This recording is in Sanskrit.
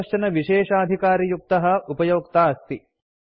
सः कश्चन विशेषाधिकारयुक्तः उपयोक्ता अस्ति